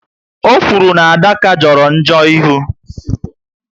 O okwuru na Adaka joro njo ịhụ